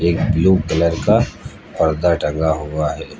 एक blue colour का पर्दा टंगा हुआ है।